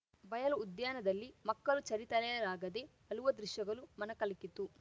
ಬಯಲು ಉದ್ಯಾನದಲ್ಲಿ ಮಕ್ಕಲು ಚಲಿ ತಡೆಯಲಾಗದೆ ಅಲುವ ದೃಶ್ಯಗಲು ಮನಕಲಕಿತು